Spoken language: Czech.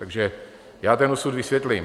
Takže já ten osud vysvětlím.